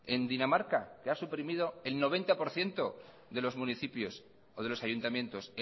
en dinamarca que ha suprimido el noventa por ciento de los municipios o de los ayuntamientos